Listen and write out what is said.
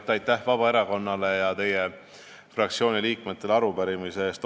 Kõigepealt aitäh Vabaerakonnale ja teie fraktsiooni liikmetele arupärimise eest!